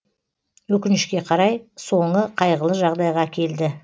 өкінішке қарай соңы қайғылы жағдайға әкелді